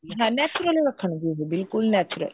ਹਾਂ natural ਰੱਖਣਗੇ ਬਿਲਕੁਲ natural